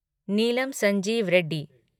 Neelam Sanjiva Reddy